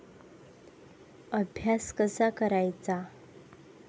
अभ्यास कसा करायचा?